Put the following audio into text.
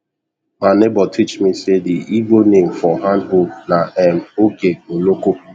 ma neighbour teach me say the igbo name for hand hoe na um oge oloko